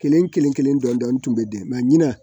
Kelen kelen kelen dɔɔnin tun bɛ di na